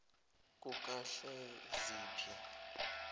kukahleziphi